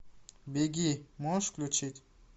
беги можешь включить